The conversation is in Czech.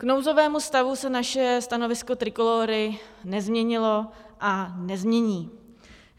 K nouzovému stavu se naše stanovisko Trikolóry nezměnilo a nezmění.